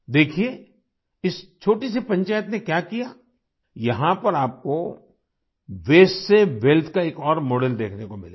देखिये इस छोटी सी पंचायत ने क्या किया यहाँ पर आपको वेस्ट से वेल्थ का एक और मॉडल देखने को मिलेगा